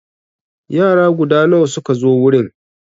Yara guda nawa suka zo wurin?